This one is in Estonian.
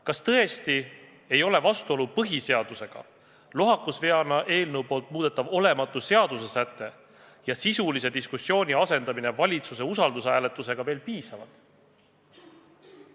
Kas tõesti ei ole vastuolu põhiseadusega, lohakusveana seadusega muudetav olematu säte ja sisulise diskussiooni asendamine valitsuse usaldushääletusega veel piisavad?